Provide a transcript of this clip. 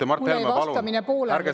Ja Mart Helme, palun ärge segage vahele!